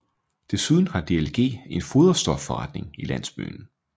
Desuden har DLG en foderstofforretning i landsbyen